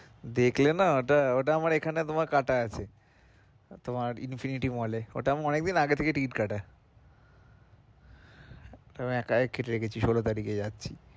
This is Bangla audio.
দেখলে না ওটা, ওটা আমার এখানে তোমার কাটা আছে তোমার infinity mall এ ওটা আমার অনেক দিন আগে থাকে ticket কাটা একা কেটে রেখেছি ষোলো তারিখে যাচ্ছি।